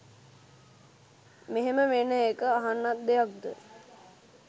මෙහෙම වෙන එක අහන්නත් දෙයක්ද?